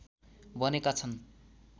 बनेका छन्